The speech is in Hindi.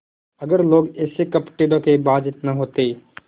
अगर लोग ऐसे कपटीधोखेबाज न होते